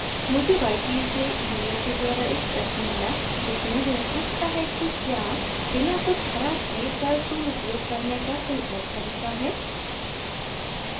मुझे vitaly vitaly से email के द्वारा एक प्रश्न मिला जिसमे वह पूछता है कि क्या बिना कुछ ख़राब किये कर्व tool उपयोग करने का कोई और तरीका है